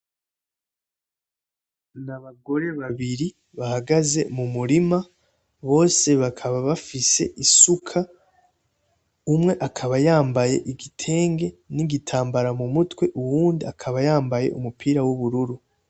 Nabagore babiri bahagaze mumurima bose bakaba bafise isuka, umwe akaba yambaye igitenge n' igitambara mumutwe uwundi akaba yambaye umupira w' ubururu.